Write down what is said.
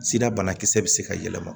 Sira banakisɛ bɛ se ka yɛlɛma